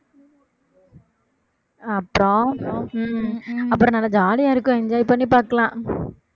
அப்புறம் ஹம் அப்புறம் நல்லா jolly ஆ இருக்கும் enjoy பண்ணி பார்க்கலாம்